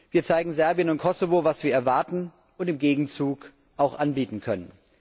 Wir zeigen Serbien und Kosovo, was wir erwarten und im Gegenzug auch anbieten können.